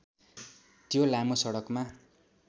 त्यो लामो सडकमा